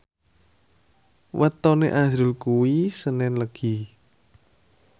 wetone azrul kuwi senen Legi